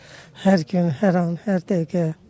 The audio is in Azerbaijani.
Hər gün, hər an, hər dəqiqə.